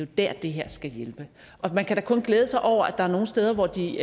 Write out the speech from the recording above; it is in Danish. der det her skal hjælpe man kan da kun glæde sig over at der er nogle steder hvor de